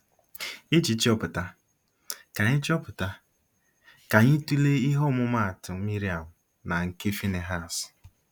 Iji chọpụta, ka anyị chọpụta, ka anyị tụlee ihe ọmụmaatụ Miriam na nke Finihas.